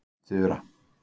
Þura